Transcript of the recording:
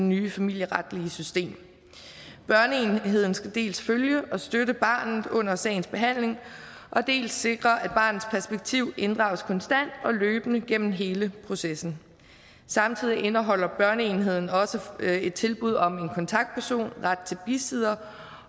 nye familieretlige system børneenheden skal dels følge og støtte barnet under sagens behandling dels sikre at barnets perspektiv inddrages konstant og løbende gennem hele processen samtidig indeholder børneenheden også et tilbud om en kontaktperson ret til en bisidder